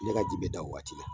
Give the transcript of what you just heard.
Ne ka ji bɛ da o waati la